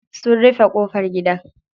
Sun rufe ƙofar gidan.